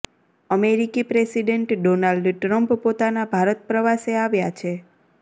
અમેરિકી president Donald Trump પોતાના ભારત પ્રવાસે આવ્યા છે